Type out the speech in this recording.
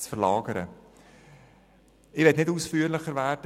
Bezüglich der Vorteile des Veloverkehrs möchte ich nicht ausführlicher werden.